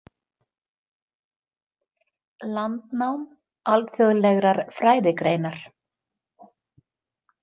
Landnám Alþjóðlegrar Fræðigreinar.